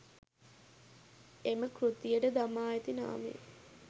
එම කෘතියට දමා ඇති නාමය